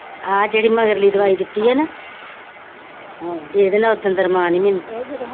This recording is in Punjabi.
ਹਾਂ ਜੇੜੀ ਮਗਰਲੀ ਦਿਵਾਈ ਦਿੱਤੀ ਏ ਨਾਂ ਹਾਂ ਏਦੇ ਨਾਂ ਉਦਾ ਰਮਾਂਨ ਏ ਮੈਂਨੂੰ,